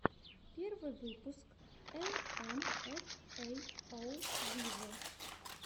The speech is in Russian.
первый выпуск эл эм эф эй оу виво